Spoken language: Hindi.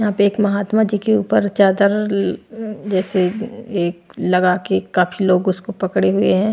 यहां पे एक महात्मा जी के ऊपर चादर जैसे एक लगा के काफी लोग उसको पकड़े हुए हैं।